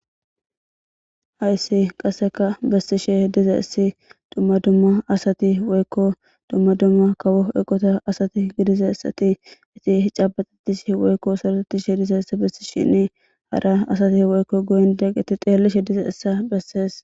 Hayssani qassekka bessishe dizayssi dumma dumma asati woykko dumma dumma kawo ossanchcha asati eqidi zooretishe dizayssa bessishenne kushen sarotanaw xeelishe dizayssa bessees.